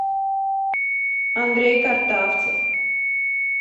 андрей картавцев